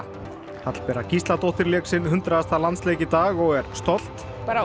Hallbera Gísladóttir lék sinn hundraðasta landsleik í dag og er stolt og